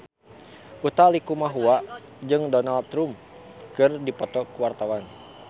Utha Likumahua jeung Donald Trump keur dipoto ku wartawan